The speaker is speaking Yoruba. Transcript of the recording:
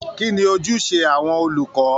Kí ni ojúṣe àwọn olùkọ́?